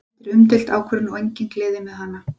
Þetta er umdeild ákvörðun og engin gleði með hana.